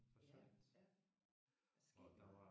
Ja ja. Det er sket meget